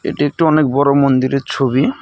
এটি একটি অনেক বড়ো মন্দিরের ছবি।